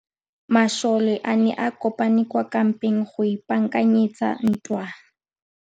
Masole a ne a kopane kwa kampeng go ipaakanyetsa ntwa.